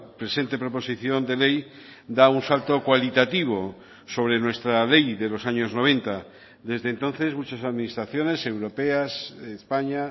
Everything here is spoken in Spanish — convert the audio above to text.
presente proposición de ley da un salto cualitativo sobre nuestra ley de los años noventa desde entonces muchas administraciones europeas de españa